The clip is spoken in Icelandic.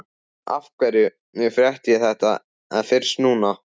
Af hverju frétti ég þetta fyrst núna?